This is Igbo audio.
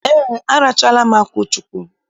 Ee, arachaala m akwuchụkwu.